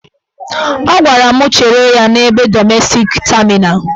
Ọ gwara m chere ya n'ebe dọmestik tamina.